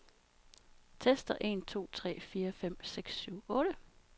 Tester en to tre fire fem seks syv otte.